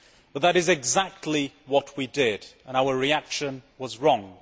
But that is exactly what we did and our reaction was wrong.